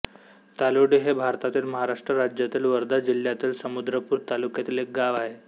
तालोडी हे भारतातील महाराष्ट्र राज्यातील वर्धा जिल्ह्यातील समुद्रपूर तालुक्यातील एक गाव आहे